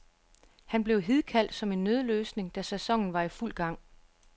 Han blev hidkaldt som en nødløsning, da sæsonen var i fuld gang.